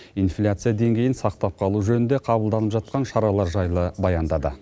инфляция деңгейін сақтап қалу жөнінде қабылданып жатқан шаралар жайлы баяндады